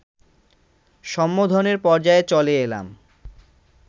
সম্বোধনের পর্যায়ে চলে এলাম